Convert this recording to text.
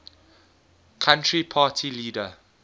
country party leader